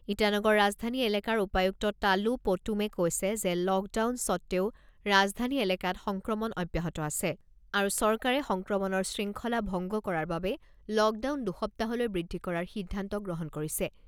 ইটানগৰ ৰাজধানী এলেকাৰ উপায়ুক্ত তালো পোটুমে কৈছে যে লকডাউন সত্বেও ৰাজধানী এলেকাত সংক্ৰমণ অব্যাহত আছে আৰু চৰকাৰে সংক্ৰমণৰ শৃংখলা ভংগ কৰাৰ বাবে লকডাউন দুসপ্তাহলৈ বৃদ্ধি কৰাৰ সিদ্ধান্ত গ্ৰহণ কৰিছে।